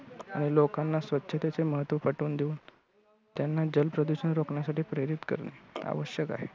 आणि लोकांना स्वच्छतेचे महत्त्व पटवून देऊन त्यांना जल प्रदूषण रोखण्यासाठी प्रेरित करणे आवश्यक आहे.